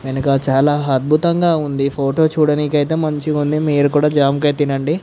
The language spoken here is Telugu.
వెనక చాలా అద్భుతంగా ఉనేది ఫోటో చూడడానికి ఐతే చాలా మంచిగా ఉంది మీరు కూడా జామకాయ తినండి.